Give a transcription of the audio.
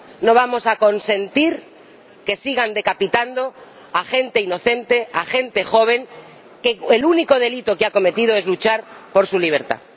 No vamos a consentir que sigan decapitando a gente inocente, a gente joven cuyo único delito cometido es luchar por su libertad.